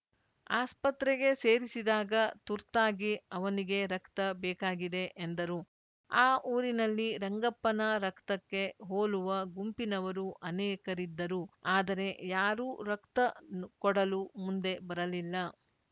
ಆಸ್ಪತ್ರೆಗೆ ಸೇರಿಸಿದಾಗ ತುರ್ತಾಗಿ ಅವನಿಗೆ ರಕ್ತ ಬೇಕಾಗಿದೆ ಎಂದರು ಆ ಊರಿನಲ್ಲಿ ರಂಗಪ್ಪನ ರಕ್ತಕ್ಕೆ ಹೋಲುವ ಗುಂಪಿನವರು ಅನೇಕರಿದ್ದರು ಆದರೆ ಯಾರೂ ರಕ್ತ ಕೊಡಲು ಮುಂದೆ ಬರಲಿಲ್ಲ